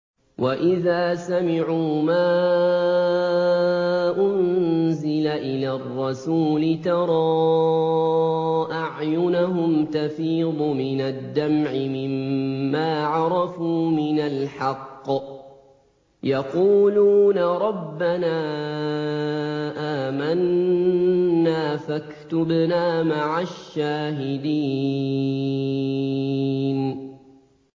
وَإِذَا سَمِعُوا مَا أُنزِلَ إِلَى الرَّسُولِ تَرَىٰ أَعْيُنَهُمْ تَفِيضُ مِنَ الدَّمْعِ مِمَّا عَرَفُوا مِنَ الْحَقِّ ۖ يَقُولُونَ رَبَّنَا آمَنَّا فَاكْتُبْنَا مَعَ الشَّاهِدِينَ